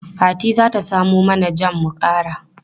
Fati za ta samo mana jam mu kara.